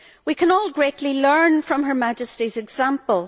We can all greatly learn from Her Majesty's example.